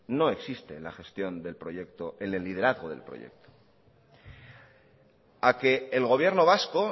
no existe en la gestión del proyecto en el liderazgo del proyecto a que el gobierno vasco